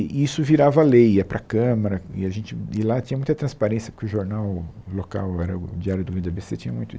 E isso virava lei ia para a Câmara, e a gente e lá tinha muita transparência, porque o jornal local, era o Diário do Vida Bê Cê, tinha muito.